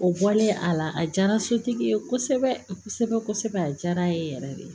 O bɔlen a la a diyara sotigi ye kosɛbɛ kosɛbɛ a diyara n ye yɛrɛ de